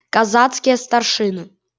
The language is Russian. казацкие старшины